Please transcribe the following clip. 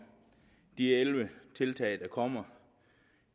de elleve tiltag der kommer